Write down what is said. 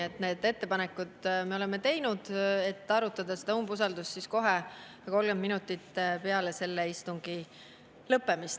Selle ettepaneku me oleme teinud, et arutada seda umbusaldust kohe 30 minutit peale selle istungi lõppemist.